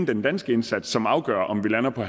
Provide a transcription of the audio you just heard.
den danske indsats som afgør om vi lander på